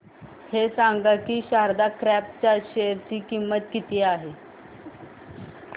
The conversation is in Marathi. हे सांगा की शारदा क्रॉप च्या शेअर ची किंमत किती आहे